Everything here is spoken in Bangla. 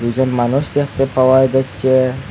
দুজন মানুষ দেখতে পাওয়া যাচ্ছে।